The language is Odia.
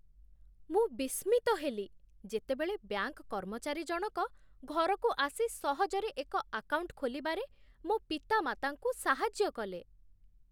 ମୁଁ ବିସ୍ମିତ ହେଲି, ଯେତେବେଳେ ବ୍ୟାଙ୍କ କର୍ମଚାରୀ ଜଣକ ଘରକୁ ଆସି ସହଜରେ ଏକ ଆକାଉଣ୍ଟ ଖୋଲିବାରେ ମୋ ପିତାମାତାଙ୍କୁ ସାହାଯ୍ୟ କଲେ।